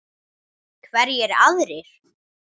Hverjir aðrir?